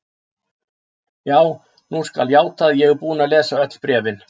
Já, nú skal játað að ég er búinn að lesa öll bréfin.